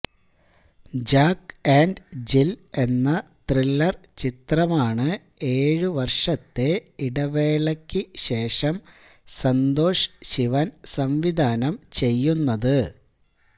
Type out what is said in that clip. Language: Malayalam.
ജാക്ക് ആന്റ് ജില് എന്ന ത്രില്ലര് ചിത്രമാണ് ഏഴുവര്ഷത്തെ ഇടവേളയ്ക്ക് ശേഷം സന്തോഷ് ശിവന് സംവിധാനം ചെയ്യുന്നത്